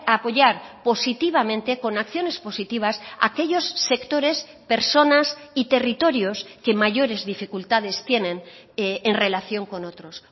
apoyar positivamente con acciones positivas aquellos sectores personas y territorios que mayores dificultades tienen en relación con otros